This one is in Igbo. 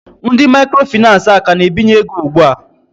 Ndị microfinace a ka na-ebinye ego ugbua?